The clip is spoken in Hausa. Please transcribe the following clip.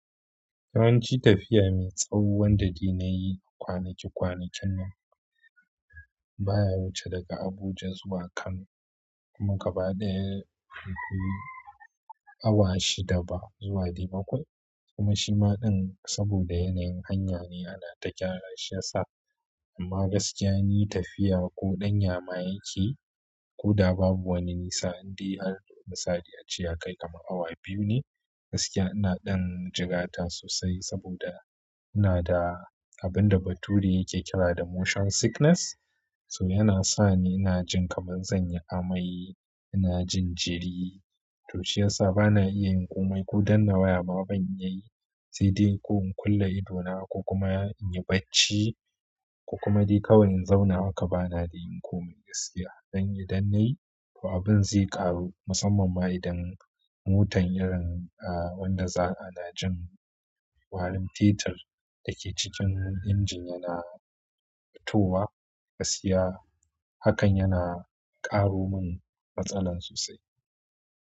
Yawanci tafiya mai tsawo da ni na yi kwanaki kwanakin nan baya wuce daga Abuja zuwa Kano kuma gaba ɗaya bai kai awa shida ba zuwa ɗai baƙwai. Kuma shi ma ɗin saboda yanayin hanya ne ana ta gyara shi ya sa. Amma gaskiya ni tafiya ko ɗon ya ma yake ko da babu wani nisa, indai an sadaci ya kai kamar awa biyu ne. Gaskiya ina ɗan jigata sosai saboda ina da abin da bature yake kira da motion sickness. So yana sa ni ina jin kamar zan yi amai, ina jin jiri. To shi ya sa ba na iya yin komai ko danna waya ba ban iya yi. Sai dai ko in kulle idona ko kuma in yi bacci ko kuma dai kawai in zauna haka ba na de yin komai gaskiya. Dan yi dannai, to abin zai ƙaru musamman ma idan motan irin a wanda za ana jin warin fetir da ke cikin injin yana fitowa gaskiya hakan yana ƙaro mun matsala sosai.